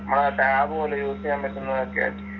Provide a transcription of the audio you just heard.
നമ്മുടെ ടാബ്‌പോലെ യൂസ് ചെയ്യാൻ പറ്റുന്നതൊക്കെ